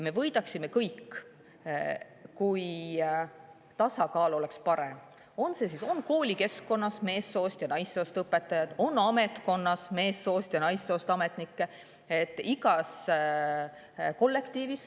Me võidaksime kõik, kui tasakaal oleks parem: koolikeskkonnas meessoost ja naissoost õpetajate vahel, ametnikkonnas meessoost ja naissoost ametnike vahel, igas kollektiivis.